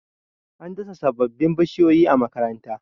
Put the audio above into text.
an dasa sababbin bishiyoyi a makaranta